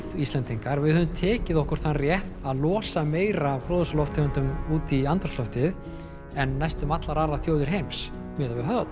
Íslendingar við höfum tekið á okkur þann rétt að losa meira af gróðurhúsalofttegundum út í andrúmsloftið en næstum allar aðrar þjóðir heims miðað við höfðatölu